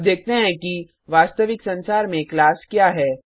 अब देखते हैं कि वास्तविक संसार में क्लास क्या है